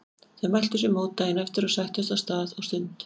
Þau mæltu sér mót daginn eftir og sættust á stað og stund.